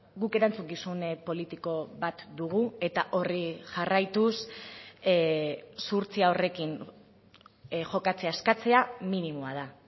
guk erantzukizun politiko bat dugu eta horri jarraituz zuhurtzia horrekin jokatzea eskatzea minimoa da